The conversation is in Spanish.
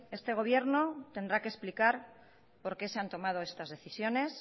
este gobierno tendrá que explicar por qué se han tomado estas decisiones